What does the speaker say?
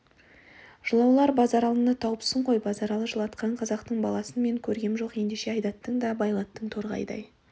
жылаулар базаралыны тауыпсың ғой базаралы жылатқан қазақтың баласын мен көргем жоқ ендеше айдаттың да байлаттың торғайдай